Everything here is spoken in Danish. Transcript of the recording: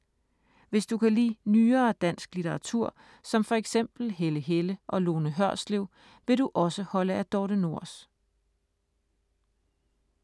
Hvis du kan lide nyere dansk litteratur, som for eksempel Helle Helle og Lone Hørslev, vil du også holde af Dorthe Nors.